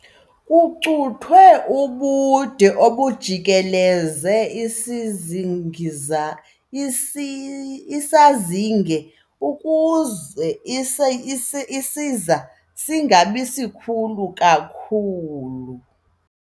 Kucuthwe ubude obujikeleze isizingiza isazinge ukuze isiza singabi sikhulu kakhulu.